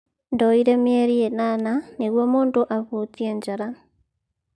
Ndoire mĩeri ĩnana nĩgũo mũndũ ahutie njara.